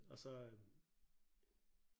Og så øh